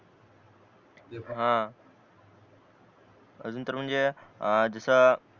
ते पण ए अजून तर म्हणजे जस